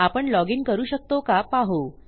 आपण लॉजिन करू शकतो का पाहू